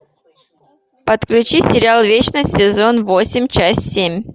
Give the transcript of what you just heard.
подключи сериал вечность сезон восемь часть семь